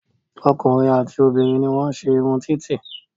Ọkùnrin àti obìnrin ní wọ́n ń se irun títì